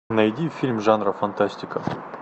найди фильм жанра фантастика